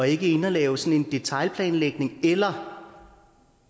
ikke inde at lave sådan en detailplanlægning eller